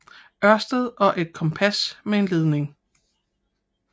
Ørsted og et kompas med en ledning